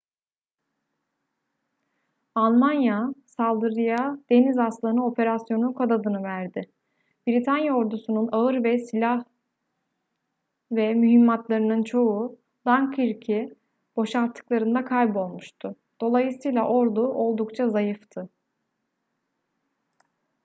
almanya saldırıya deniz aslanı operasyonu kod adını verdi britanya ordusu'nun ağır silah ve mühimmatlarının çoğu dunkirk'ü boşalttıklarında kaybolmuştu dolayısıyla ordu oldukça zayıftı